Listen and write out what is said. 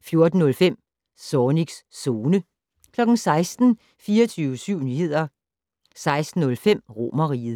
14:05: Zornigs Zone 16:00: 24syv Nyheder 16:05: Romerriget